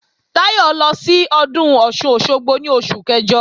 Táyọ̀ lọ sí Ọdún Ọ̀sun-Òsogbo ní oṣù kẹjọ